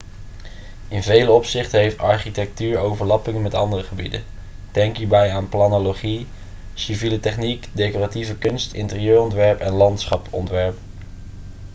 in vele opzichten heeft architectuur overlappingen met andere gebieden denk hierbij aan planologie civiele techniek decoratieve kunst interieurontwerp en landschapsontwerp